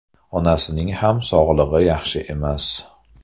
Onasining ham sog‘ligi yaxshi emas.